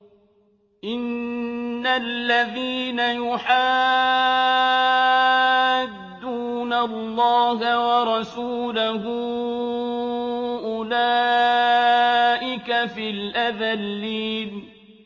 إِنَّ الَّذِينَ يُحَادُّونَ اللَّهَ وَرَسُولَهُ أُولَٰئِكَ فِي الْأَذَلِّينَ